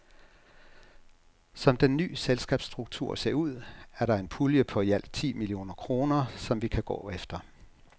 Som den nye selskabsstruktur ser ud, er der en pulje på i alt ti millioner kroner, som vi kan gå efter.